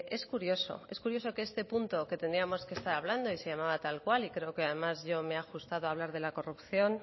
es curioso es curioso que este punto que tendríamos que estar hablando y se llamaba tal cual y creo que además yo me he ajustado a hablar de la corrupción